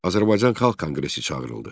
Azərbaycan Xalq Konqresi çağırıldı.